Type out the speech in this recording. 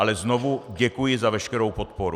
Ale znovu děkuji za veškerou podporu.